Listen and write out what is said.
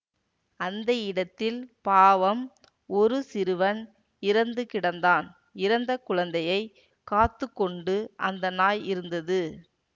அந்த இடத்தில் பாவம் ஒரு சிறுவன் இறந்து கிடந்தான் இறந்த குழந்தையை காத்து கொண்டு அந்த நாய் இருந்தது